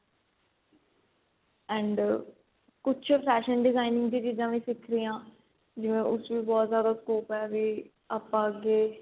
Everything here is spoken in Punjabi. and ਕੁੱਝ fashion designing ਦੀਆਂ ਚੀਜਾ ਵੀ ਸਿਖਦੇ ਆ ਜਿਵੇਂ ਉਸ ਚ ਬਹੁਤ ਜਿਆਦਾ scope ਏ ਵੀ ਆਪਾਂ ਅੱਗੇ